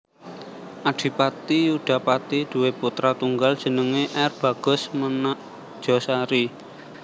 Adipati Yudapati duwé putra tunggal jenengé R Bagus Menakjosari